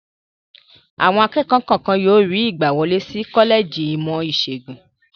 Àwọn akẹ́kọ̀ọ́ kọ̀ọ̀kan yóò rí ìgbàwọlé sí kọ́lẹ́jì ìmọ̀-ìṣègùn.